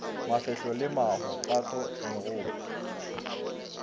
mafehlo le maho pato megopo